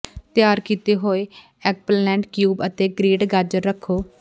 ਤਿਆਰ ਕੀਤੇ ਹੋਏ ਐੱਗਪਲੈਂਟ ਕਿਊਬ ਅਤੇ ਗਰੇਟ ਗਾਜਰ ਰੱਖੋ